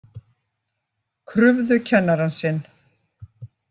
Krufðu kennarann sinn